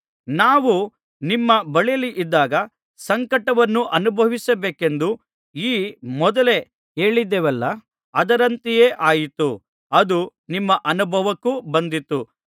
ನಾವು ನಿಮ್ಮ ಬಳಿಯಲ್ಲಿದ್ದಾಗ ಸಂಕಟವನ್ನು ಅನುಭವಿಸಲೇಬೇಕೆಂದು ಈ ಮೊದಲೇ ಹೇಳಿದ್ದೆವಲ್ಲಾ ಅದರಂತೆಯೇ ಆಯಿತು ಅದು ನಿಮ್ಮ ಅನುಭವಕ್ಕೂ ಬಂದಿತು